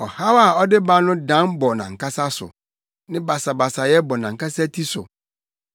Ɔhaw a ɔde ba no dan bɔ nʼankasa so; ne basabasayɛ bɔ nʼankasa ti so.